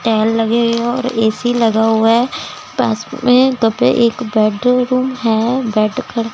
tail लगे हुए है और ए_सी लगा हुआ है पास में कप है एक बेडरूम है बैठकर--